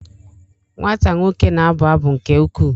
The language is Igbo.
Nwata nwoke na-abụ abụ nke ukwuu?